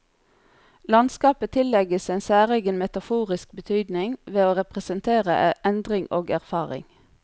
Landskapet tillegges en særegen metaforisk betydning, ved å representere endring og erfaring.